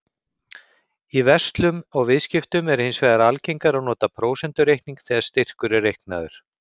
Í verslun og viðskiptum er hins vegar algengara að nota prósentureikning þegar styrkur er reiknaður.